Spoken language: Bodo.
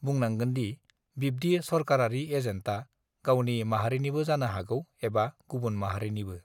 बुंनांगोनदि बिब्दि सरकारारि एजेन्टआ गावनि माहारिनिबो जानो हागौ एबा गुबुन माहारिनिबो